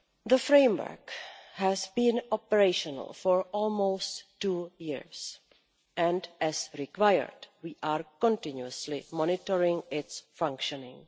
The framework has been operational for almost two years and, as required, we are continuously monitoring its functioning.